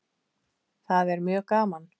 Þetta er mjög gaman.